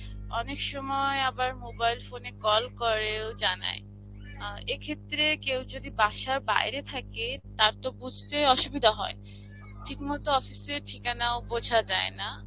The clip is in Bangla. অনেকসময় আবার mobile phone এ call করেও জানায়. এক্ষেত্রে কেউ যদি বাসার বাইরে থাকে তারতো বুঝতে অসুবিধা হয়. ঠিকমতো office এর ঠিকানাও বোঝা যায়না.